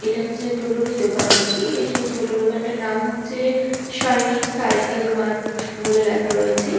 এটা হচ্ছে টোটো - রি দোকান আর কি সেই টোটো দোকানটির নাম হচ্ছে সৈনিক সাইকেল মার্ট বলে লেখা রয়েছে।